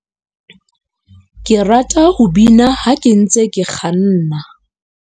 ke rata ho bina ha ke ntse ke kganna.